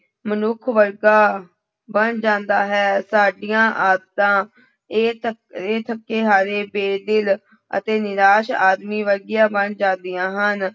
ਮਨੁੱਖ ਵਰਗਾ ਬਣ ਜਾਂਦਾ ਹੈ ਸਾਡੀਆਂ ਆਦਤਾਂ ਇਹ ਥ ਇਹ ਥੱਕੇ ਹਾਰੇ ਬੇ-ਦਿਲ ਅਤੇ ਨਿਰਾਸ ਆਦਮੀ ਵਰਗੀਆਂ ਬਣ ਜਾਂਦੀਆਂ ਹਨ।